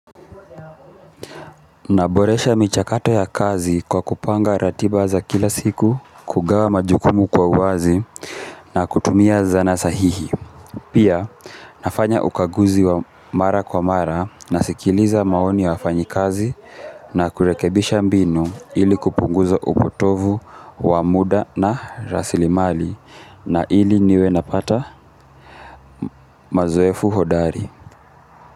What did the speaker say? Naboresha michakato ya kazi kwa kupanga ratiba za kila siku kugawa majukumu kwa uwazi na kutumia zana sahihi pia nafanya ukaguzi wa mara kwa mara nasikiliza maoni ya wafanyi kazi na kurekebisha mbinu ili kupunguza upotovu wa muda na rasilimali na ili niwe napata mazoefu hodari.